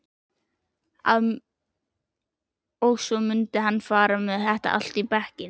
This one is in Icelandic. Og svo mundi hann fara með allt í bekkinn.